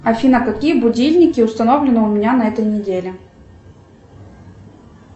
афина какие будильники установлены у меня на этой неделе